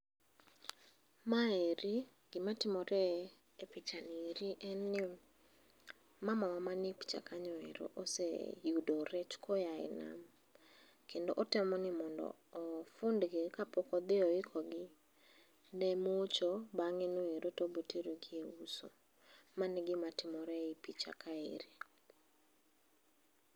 Ma eri gi ma timore e picha ni ere en ni mamawa ma nie picha kanyo ero oseyudo rech ka oya e nam kendo otemo ni mondo ofund gi kapok odhi oiko gi ne mocho bang'e no ero to obiro tero gi e uso mano e gima timore e picha kanyo ero.